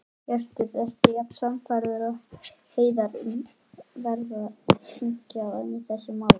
Hjörtur: Ertu jafn sannfærður og Hreiðar um að það verði sýknað í þessu máli?